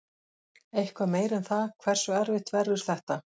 Eitthvað meira en það, hversu erfitt verður þetta?